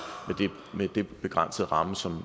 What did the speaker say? med den begrænsede ramme som